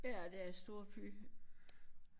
Ja det er storby